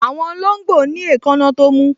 Àwọn olóngbò ní èékánná tó mú